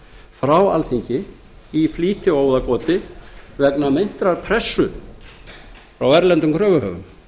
frá alþingi í flýti og óðagoti vegna meintrar pressu frá erlendum kröfuhöfum